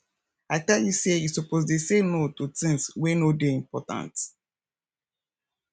i tell you say you suppose dey say no to tins wey no dey important